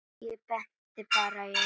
Ég benti bara í áttina.